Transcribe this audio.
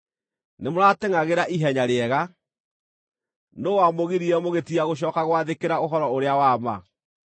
Nĩmũratengʼagĩra ihenya rĩega. Nũũ wamũgiririe mũgĩtiga gũcooka gwathĩkĩra ũhoro-ũrĩa-wa-ma?